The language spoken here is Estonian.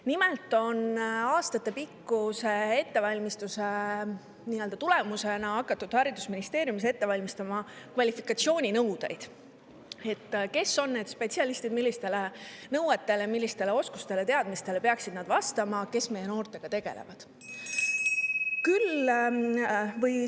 Nimelt on aastatepikkuse ettevalmistuse tulemusena hakatud haridusministeeriumis ette valmistama kvalifikatsiooninõudeid nendele spetsialistidele, kes meie noortega tegelevad: millistele nõuetele nad peaksid vastama ning milliseid oskusi ja teadmisi.